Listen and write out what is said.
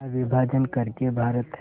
का विभाजन कर के भारत